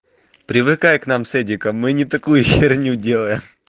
привыкай к нам с эдиком мы и не такую херню делаем